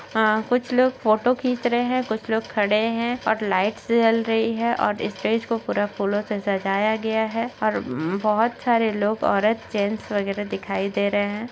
अ कुछ लोग फोटो खीच रहे हैं कुछ लोग खड़े हैं और लाइटस जल रही है और स्टेज को पूरा फूलों से सजाया गया है और बहुत सारे लोग औरत जेंट्स वगैरह दिखाई दे रहे हैं।